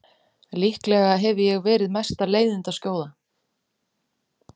Líklega hefi ég verið mesta leiðindaskjóða.